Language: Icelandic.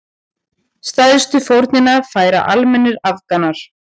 Stærstu fórnina færa almennir Afganar.